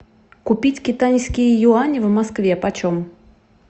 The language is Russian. купить китайские юани в москве почем